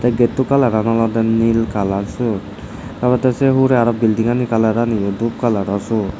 getto kalaran olowde nil kalaror siyot dogede se urey arow buildingano kalarani yo suot.